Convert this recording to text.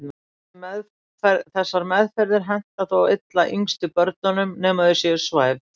Þessar meðferðir henta þó illa yngstu börnunum nema þau séu svæfð.